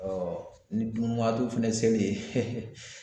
ni dun waati fana seli ye